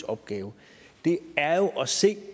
opgave er jo at se